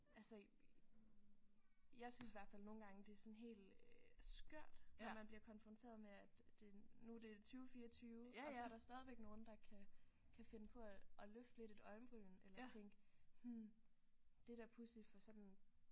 Altså jeg synes i hvert fald nogle gange det er sådan helt øh skørt når man bliver konfronteret med at det nu er det 2024 og så er der stadigvæk nogen der kan kan finde på at at løfte lidt et øjenbryn eller tænke hm det er da pudsigt for sådan